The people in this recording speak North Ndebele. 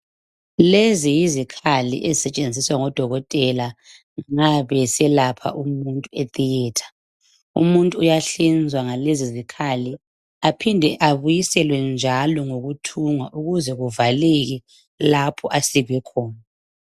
Lezi yizikhali ezisetshenziswa ngodokotela ma beselapha umuntu e theatre , umuntu uyahlinzwa ngalezizikhali aphinde abuyiselwe njalo ngokuuthungwa ukuze kuvaleke lapho asikwe khona